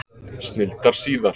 Snilldar síðar!